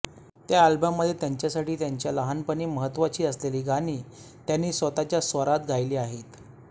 त्या अल्बममध्ये त्यांच्यासाठी त्यांच्या लहानपणी महत्त्वाची असलेली गाणी त्यांनी स्वतःच्या स्वरात गायली आहेत